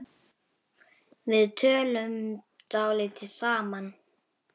Við áttum að vera farnir.